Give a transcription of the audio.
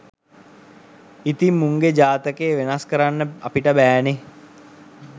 ඉතින් මුන්ගෙ ජාතකේ වෙනස් කරන්න අපිට බෑනෙ